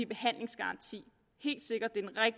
behandlingsgaranti